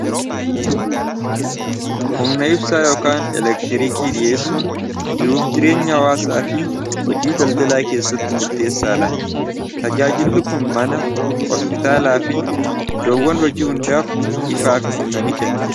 Humna ibsaa yookaan elektiriikii dhiyeessuun jiruuf jireenya hawaasaa fi hojii daldalaa keessatti murteessaadha. tajaajilli kun mana hospitaalaa fi iddoowwan hojii hundaaf ifaa fi humna ni kenna